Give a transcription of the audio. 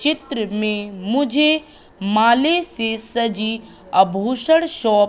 चित्र में मुझे माले से सजी आभूषण शॉप --